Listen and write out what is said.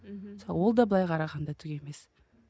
мхм ол да былай қарағанда түк емес